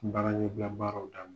Baara ɲɛbila baaraw daminɛ.